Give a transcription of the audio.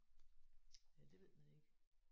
Ja det ved man ikke